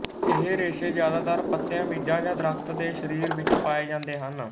ਇਹ ਰੇਸ਼ੇ ਜ਼ਿਆਦਾਤਰ ਪੱਤਿਆਂ ਬੀਜਾਂ ਜਾਂ ਦਰੱਖਤ ਦੇ ਸਰੀਰ ਵਿੱਚ ਪਾਏ ਜਾਂਦੇ ਹਨ